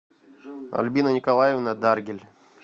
альбина николаевна даргель